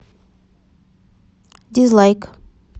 дизлайк